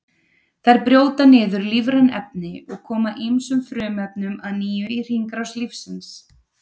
Þær brjóta niður lífræn efni og koma ýmsum frumefnum að nýju í hringrás lífsins.